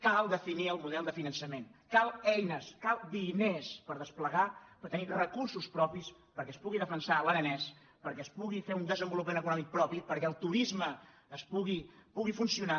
cal definir el model de finançament calen eines calen diners per desplegar per tenir recursos propis perquè es pugui defensar l’aranès perquè es pugui fer un desenvolupa·ment econòmic propi perquè el turisme pugui funcio·nar